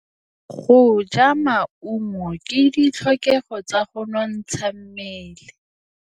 Go ja maungo ke ditlhokegô tsa go nontsha mmele.